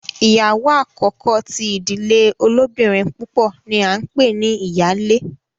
ìyàwó àkókò tí ìdílé olobinrin púpọ ní a npè ní iyale.